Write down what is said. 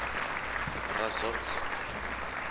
raxoxo